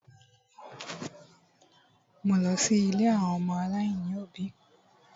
Mo lọ sí ilé àwọn ọmọ aláìní òbí.